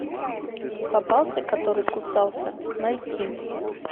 попался который кусался найти